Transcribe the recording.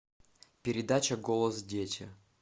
передача голос дети